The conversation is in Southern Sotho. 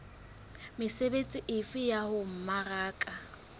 mesebetsi efe ya ho mmaraka